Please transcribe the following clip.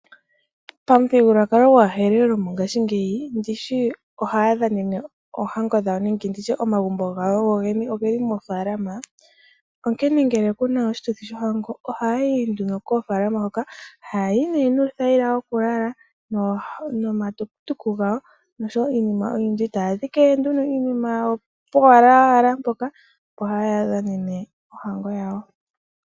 Pamuthigululwakalo gwaHerero mongashingeyi ndishi ohaya dhanene oohango dhawo nenge nditye omagumbo gawo gogene ogeli moofaalama. Onkene ngele kuna oshituthi shohango ohayayi nduno koofaalama. Hayayi nuuthayila wokulala noohauto dhawo noshowo iinima oyindji, etaya dhike nduno iinima yawo powala mpoka haya dhanene ohango yawo.